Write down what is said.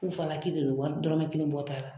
Fufalaki de don wari dɔrɔmɛ kelen bɔ' la .